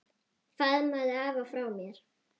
Faðmaðu afa frá mér.